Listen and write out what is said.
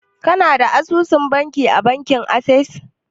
Kana da asusun banki a bankin Ases?